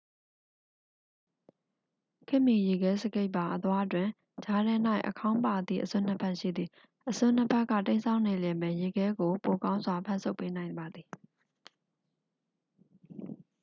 ခေတ်မီ ရေခဲစကိတ်ပါ အသွားတွင် ကြားထဲ၌ အခေါင်းပါသည့် အစွန်းနှစ်ဖက် ရှိသည် အစွန်းနှစ်ဖက်က တိမ်းစောင်းနေလျှင်ပင် ရေခဲကို ပိုကောင်းစွာ ဖမ်းဆုပ်ပေးနိုင်ပါသည်